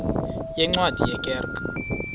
yeencwadi ye kerk